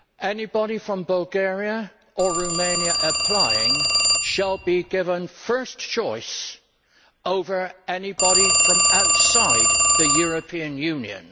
anybody from Bulgaria or Romania applying shall be given first choice over anybody from outside the European Union.